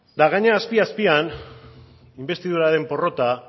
eta gainera azpi azpian inbestiduraren porrota